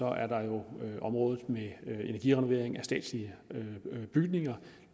er der jo området med energirenovering af statslige bygninger